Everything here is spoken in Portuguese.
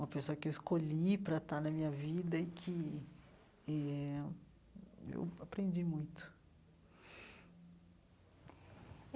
uma pessoa que eu escolhi para estar na minha vida e que eh eu aprendi muito.